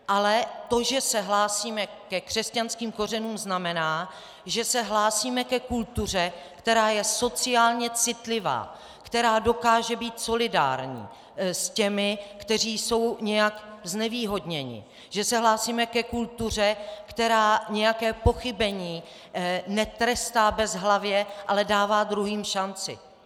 Ale to, že se hlásíme ke křesťanským kořenům, znamená, že se hlásíme ke kultuře, která je sociálně citlivá, která dokáže být solidární s těmi, kteří jsou nějak znevýhodněni, že se hlásíme ke kultuře, která nějaké pochybení netrestá bezhlavě, ale dává druhým šanci.